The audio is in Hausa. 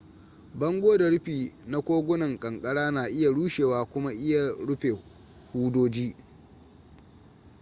bango da rufi na kogunan kankara na iya rushewa kuma iya rufe hudoji